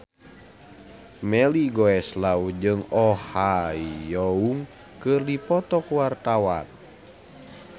Melly Goeslaw jeung Oh Ha Young keur dipoto ku wartawan